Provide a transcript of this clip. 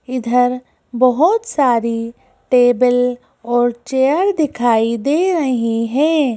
इधर बहुत सारीटेबल और चेयर दिखाई दे रही हैं।